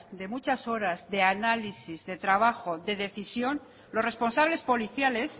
de muchas horas de análisis de trabajo de decisión los responsables policiales